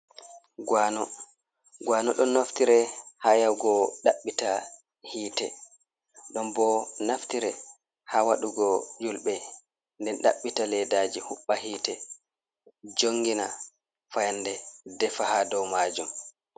Guano, guano ɗon naftire ha yahugo ɗaɓɓite hitte, ɗon bo naftire ha waɗugo yulɓe nden ɗaɓɓita leddaji huɓba hitte jongina fayande defa ha dow majum.